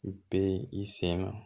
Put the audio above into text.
U bɛ i sen ŋa